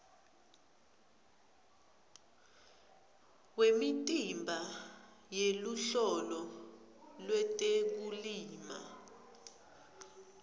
wemitimba yeluhlolo lwetekulima